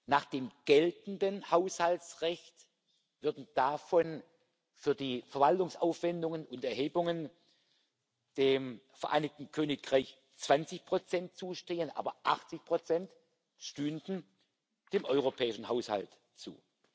Nach dem geltenden Haushaltsrecht würden davon für die Verwaltungsaufwendungen und Erhebungen dem Vereinigten Königreich 20 zustehen, aber 80 stünden dem europäischen Haushalt zu.